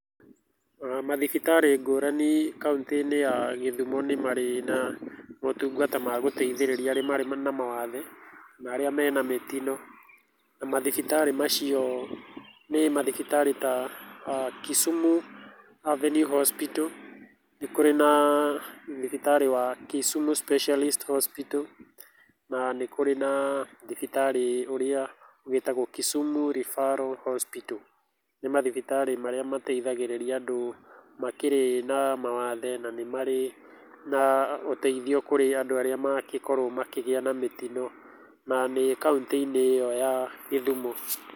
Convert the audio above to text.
Ona mathibitarĩ ngũrani kauntĩ-inĩ ya Githumo nĩ marĩ na motungata ma gũteithĩrĩria arĩa marĩ na mawathe na arĩa me na mĩtino, na mathibitarĩ macio nĩ mathibitarĩ ta Kisumu Avenue Hospital, nĩ kũrĩ na thibitarĩ wa Kisumu Specialist Hospital, na nĩ kũrĩ na thibitarĩ ũrĩa wĩtagwo Kisumu Referral Hospital, nĩ mathibitarĩ marĩa mateithagĩrĩria andũ makĩrĩ na mawathe, na nĩ marĩ na ũteithio kũrĩ andũ arĩa magĩkorwo makĩgĩa na mĩtino, na nĩ kauntĩ-inĩ ĩyo ya Githumo.